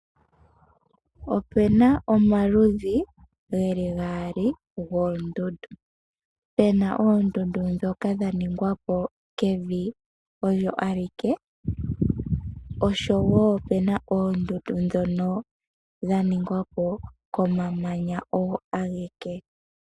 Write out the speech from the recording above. Opuna omaludhi ge li gaali goondundu. Opuna oondundu ndhoka dhaningwapo kevi olyo alike, oshowo oondundu ndhono dhaningwapo komamanya ogo ageke.